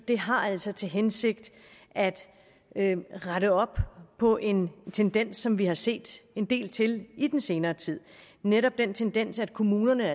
det har altså til hensigt at at rette op på en tendens som vi har set en del til i den senere tid netop den tendens at kommunerne